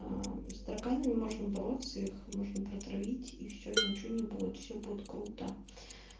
аа с тараканами можно бороться их можно протравить и все и ничего не будет все будет круто